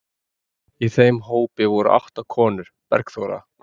Í þeim hópi voru átta konur: Bergþóra